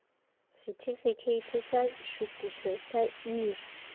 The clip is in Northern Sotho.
sethifikheithi sa šuthišo sa eur